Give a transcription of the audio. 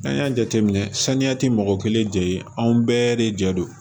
N'an y'a jateminɛ saniya ti mɔgɔ kelen jɛ ye anw bɛɛ de jɛ don